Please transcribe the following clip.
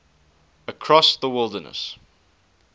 across the wilderness